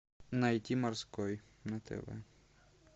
найти морской на тв